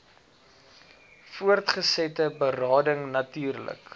voortgesette berading natuurlik